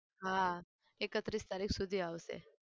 હા એકત્રીસ તારીખ સુધી આવશે